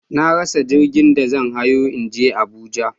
Na rasa jirgin da zan hawo in je Abuja jiya.